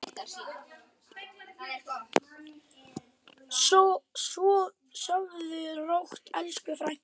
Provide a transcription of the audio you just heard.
Sofðu rótt, elsku frænka.